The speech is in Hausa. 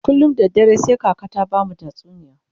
kullum da dare sai kaka ta bamu tatsuniya